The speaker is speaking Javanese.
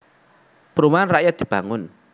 Perumahan rakyat dibangun